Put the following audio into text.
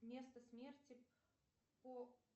место смерти по